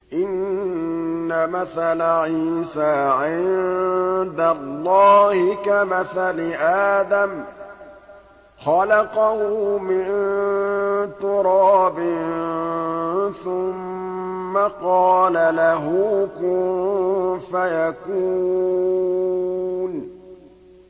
إِنَّ مَثَلَ عِيسَىٰ عِندَ اللَّهِ كَمَثَلِ آدَمَ ۖ خَلَقَهُ مِن تُرَابٍ ثُمَّ قَالَ لَهُ كُن فَيَكُونُ